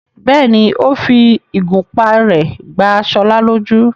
bẹ́ẹ̀ni, ó fi ìgúnpá rẹ̀ gbá Ṣọlá lójú.